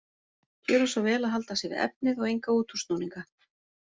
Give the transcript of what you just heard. Gjöra svo vel að halda sig við efnið og enga útúrsnúninga.